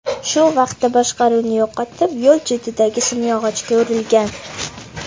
Shu vaqtda boshqaruvni yo‘qotib, yo‘l chetidagi simyog‘ochga urilgan.